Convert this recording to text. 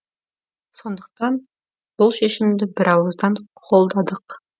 сондықтан бұл шешімді бірауыздан қолдадық